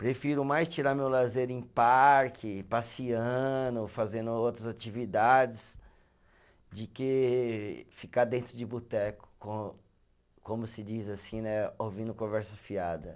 Prefiro mais tirar meu lazer em parque, passeando, fazendo outras atividades, de que ficar dentro de boteco com, como se diz assim né, ouvindo conversa fiada.